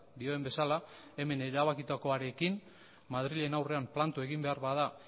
dioen bezala hemen erabakitakoarekin madrilen aurrean planto egin behar bada